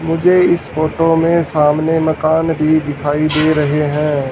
मुझे इस फोटो में सामने मकान भी दिखाई दे रहें हैं।